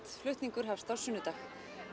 flutningur hefst á sunnudag